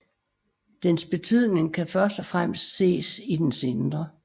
Dens betydning kan først og fremmest ses i dens indre